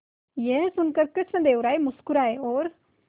यह सुनकर कृष्णदेव राय मुस्कुराए और